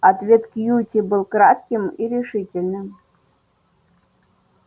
ответ кьюти был кратким и решительным